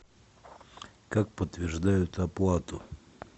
как подтверждают оплату